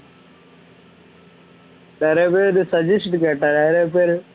நிறைய பேரு suggestion கேட்டாங்க நிறைய பேரு